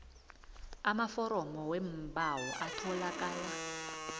amaforomo weembawo atholakala